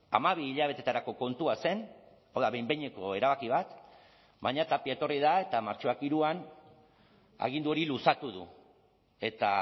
hamabi hilabeteetarako kontua zen hau da behin behineko erabaki bat baina tapia etorri da eta martxoak hiruan agindu hori luzatu du eta